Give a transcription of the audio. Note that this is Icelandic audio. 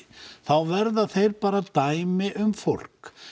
þá verða þeir dæmi um fólk